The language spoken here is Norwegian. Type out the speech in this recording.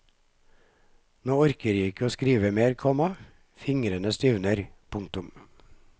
Nå orker jeg ikke skrive mer, komma fingrene stivner. punktum